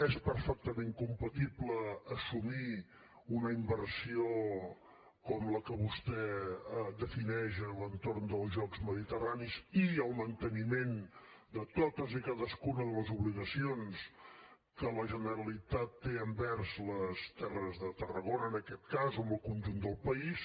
és perfectament compatible assumir una inversió com la que vostè defineix a l’entorn dels jocs mediterranis ii cadascuna de les obligacions que la generalitat té envers les terres de tarragona en aquest cas o en el conjunt del país